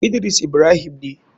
Idris ibrahim ne.